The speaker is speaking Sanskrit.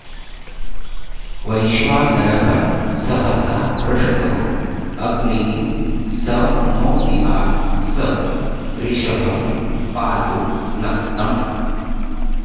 वैश्वानरः सहसा पृष्टो अग्निः स नो दिवा स रिषः पातु नक्तम्